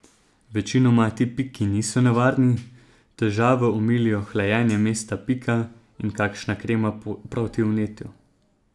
Večinoma ti piki niso nevarni, težave omilijo hlajenje mesta pika in kakšna krema proti vnetju.